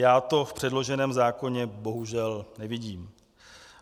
Já to v předloženém zákoně bohužel nevidím.